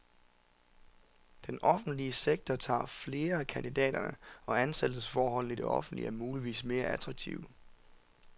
Den offentlige sektor tager flere af kandidaterne, og ansættelsesforholdene i det offentlige er muligvis mere attraktive.